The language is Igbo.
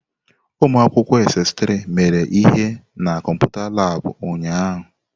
Ụmụ akwụkwọ SS3 mere ihe na kọmputa Laabụ̀ ụnyaahụ.